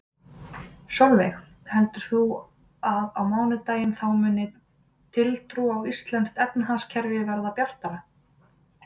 Sólveig: Heldur þú að á mánudaginn, þá muni tiltrú á íslenskt efnahagskerfi verða bjartara?